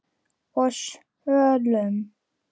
og sölum.